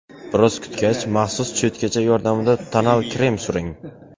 Biroz kutgach, maxsus cho‘tkacha yordamida tonal krem suring.